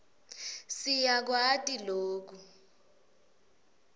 si yakwati loku